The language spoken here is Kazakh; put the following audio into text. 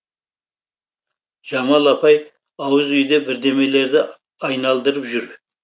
жамал апай ауыз үйде бірдемелерді айналдырып жүр